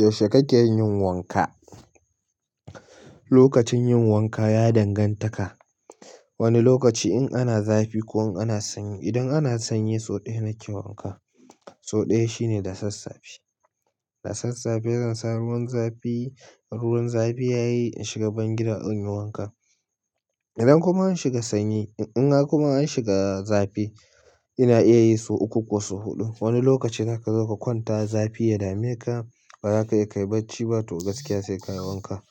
Yaushe kake yin wanka? Lokacin yin wanka ya danganta da wani lokaci. In ana zafi ko an sanyi. Idan ana sanyi, sau ɗaya nake yin wanka. Sau ɗaya shine da sassafe. Da sassafe zansa ruwan zafi. Ruwan zafi yayi in shiga bangidan inyi wanka. Idan kuma an shiga sanyi, in kuma an shiga zafi ina iya yi sau uku ko sau huɗu. Wani lokacin haka za ka kwanta zafi ya dame ka, ba za ka iya kai bacci ba. Toga gaskiya sai ka yi wanka.